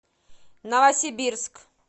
новосибирск